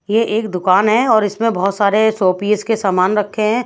ये एक दुकान है और इसमें बहत सारे शोपीस के सामान रखे ह--